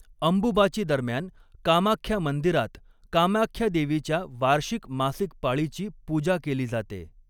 अंबुबाची दरम्यान कामाख्या मंदिरात, कामाख्या देवीच्या वार्षिक मासिक पाळीची पूजा केली जाते.